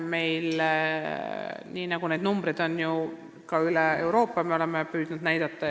Seda näitavad numbrid üle kogu Euroopa ja meiegi oleme püüdnud seda näidata.